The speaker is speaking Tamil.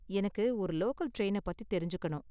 எனக்கு ஒரு லோக்கல் டிரைன பத்தி தெரிஞ்சுக்கணும்.